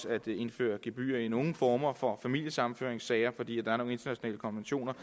at indføre gebyrer i nogle former for familiesammenføringssager fordi der er nogle internationale konventioner